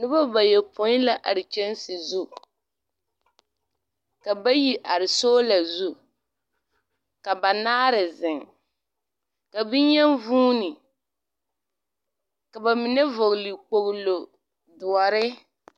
Noba bayopoi la are kyanse zu. Ka bayi are sola su, ka banaare zeŋ. Ka beyen vuune, ka ba mine vɔgle kpoglo doɔre.